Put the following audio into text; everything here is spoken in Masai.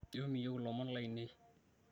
ijo miyieu lomon lainei